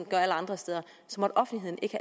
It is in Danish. gør alle andre steder måtte offentligheden ikke